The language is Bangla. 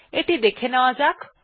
এটি দেখে নেওয়া যাক